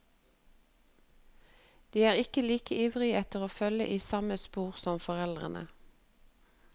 De er ikke like ivrige etter å følge i samme spor som foreldrene.